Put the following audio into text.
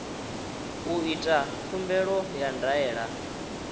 u ita khumbelo ya ndaela